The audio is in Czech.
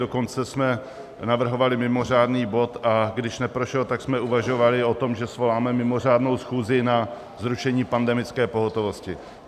Dokonce jsme navrhovali mimořádný bod, a když neprošel, tak jsme uvažovali o tom, že svoláme mimořádnou schůzi na zrušení pandemické pohotovosti.